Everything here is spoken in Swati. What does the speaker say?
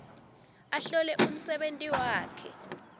ahlole umsebenti wakhe